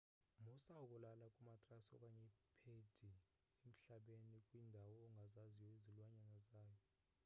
musa ukulala kumatrasi okanye iphedi emhlabeni kwiindawo ongazaziyo izilwanyana zayo